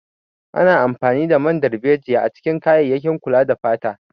Ana amfani da man darbejiya a cikin kayayyakin kula da fata.